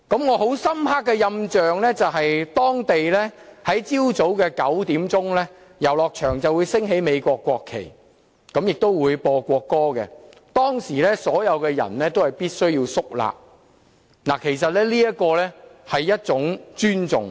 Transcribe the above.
我印象很深刻的是當地在早上9時，遊樂場會升起美國國旗和奏國歌，所有人必須肅立，代表一份尊重。